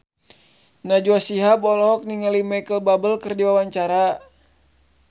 Najwa Shihab olohok ningali Micheal Bubble keur diwawancara